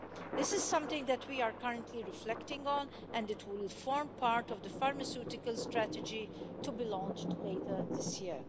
This is something that we are currently reflecting on, and it will form part of the pharmaceutical strategy to be launched later this year.